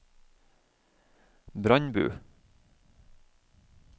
Brandbu